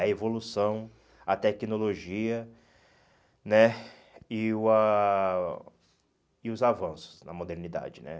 A evolução, a tecnologia né e o ah e os avanços na modernidade né.